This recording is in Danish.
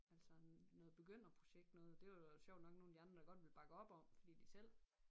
Altså noget begynderprojekt noget det var der sjovt nok nogle af de andre der godt ville bakke op om fordi de selv